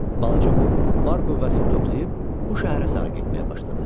Balaca Muk var qüvvəsini toplayıb bu şəhərə sarı getməyə başladı.